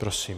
Prosím.